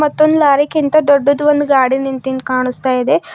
ಮತ್ತೊಂದ್ ಲಾರಿಗಿಂತ ದೊಡ್ಡದು ಒಂದು ಗಾಡಿ ನಿಂತಿಂದ್ ಕಾಣಿಸ್ತಾ ಇದೆ.